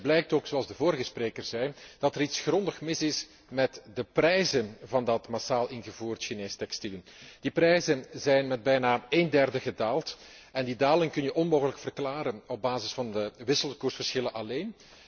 Uit die cijfers blijkt ook, zoals de vorige spreker zei, dat er iets grondig mis is met de prijzen van dat massaal ingevoerd Chinees textiel. Die prijzen zijn met bijna een derde gedaald en die daling is onmogelijk te verklaren op basis van de wisselkoersverschillen alleen.